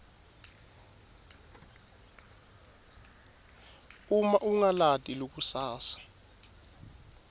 uma ungalati likusasa